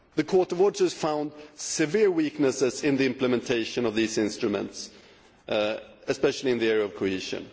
The Court of Auditors found severe weaknesses in the implementation of these instruments, especially in the area of cohesion.